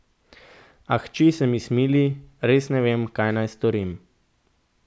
A hči se mi smili, res ne vem, kaj naj storim.